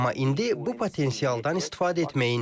Amma indi bu potensialdan istifadə etməyin.